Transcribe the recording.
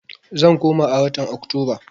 Zan koma a watan Oktoba.